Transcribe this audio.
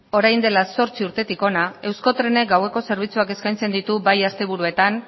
orain dela zortzi urtetik hona euskotrenek gaueko zerbitzuak eskaintzen ditu bai asteburuetan